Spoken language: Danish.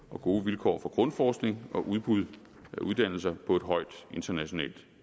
og gode vilkår for grundforskning og udbud af uddannelser på et højt internationalt